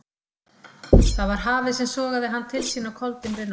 Það var hafið sem sogaði hann til sín á koldimmri nótt.